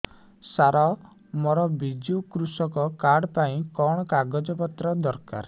ସାର ମୋର ବିଜୁ କୃଷକ କାର୍ଡ ପାଇଁ କଣ କାଗଜ ପତ୍ର ଦରକାର